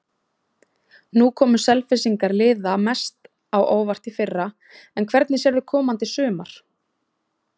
Nú komu Selfyssingar liða mest á óvart í fyrra, en hvernig sérðu komandi sumar?